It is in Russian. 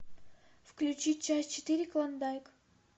включи часть четыре клондайк